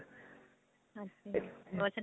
ਹਾਂਜੀ ਹੋਰ ਸੁਨਾਓ